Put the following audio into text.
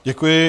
Děkuji.